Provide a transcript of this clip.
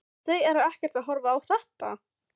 Þau eru ekkert að horfa á þetta?